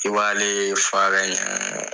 I b'ale ye fara ɲɛ.